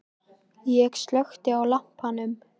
Ég slökkti á lampanum.